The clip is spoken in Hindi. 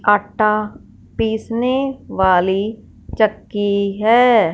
आटा पीसने वाली चक्की है।